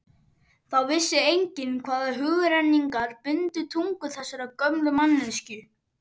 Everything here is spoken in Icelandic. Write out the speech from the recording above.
Þá vissi enginn hvaða hugrenningar bundu tungu þessarar gömlu manneskju.